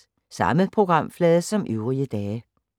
Samme programflade som øvrige dage